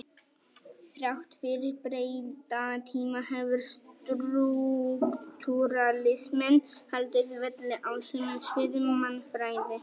Þrátt fyrir breytta tíma hefur strúktúralisminn haldið velli á sumum sviðum mannfræði.